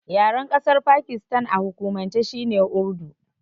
Yaren ƙasar Pakistan a hukumance shine Urdu.